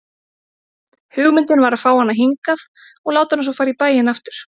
Hugmyndin var að fá hana hingað og láta hana svo fara í bæinn aftur.